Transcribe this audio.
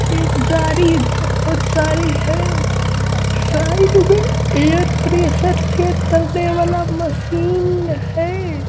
जारी बहुत सारी है साइड में एयर प्रेशर चेक करने वाला मशीन है।